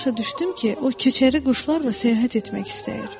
Belə başa düşdüm ki, o köçəri quşlarla səyahət etmək istəyir.